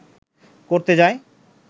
করতে যায়